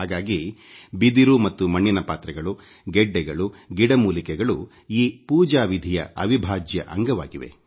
ಹಾಗಾಗಿ ಬಿದಿರು ಮತ್ತು ಮಣ್ಣಿನ ಪಾತ್ರೆಗಳು ಗೆಡ್ಡೆಗಳು ಗಿಡ ಮೂಲಿಕೆಗಳು ಈ ಪೂಜಾವಿಧಿಯ ಅವಿಭಾಜ್ಯ ಅಂಗವಾಗಿವೆ